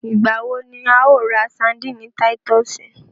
Ìgbà wo ni a ó ra sandíìnì Titúsìì